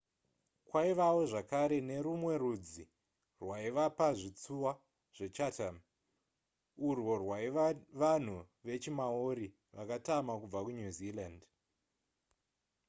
kwaivawo zvakare nerumwe rudzi rwaiva pazvitsuwa zvechatham urwo rwaiva vanhu vechimaori vakatama kubva kunew zealand